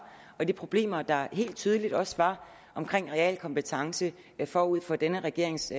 og de problemer der helt tydeligt også var omkring realkompetence forud for denne regerings